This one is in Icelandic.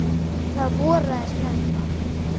Það voraði snemma.